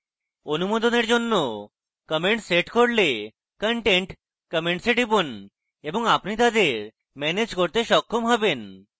অনুমোদনের জন্য comments set করলে content comments এ টিপুন এবং আপনি তাদের ম্যানেজ করতে সক্ষম হবেন